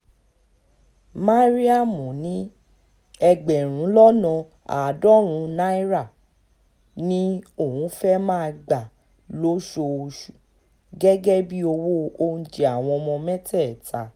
mariam ní ẹgbẹ̀rún lọ́nà àádọ́rùn-ún naira ni òun fẹ́ẹ́ máa gbà lóṣooṣù gẹ́gẹ́ bíi owó oúnjẹ àwọn ọmọ mẹ́tẹ̀ẹ̀ta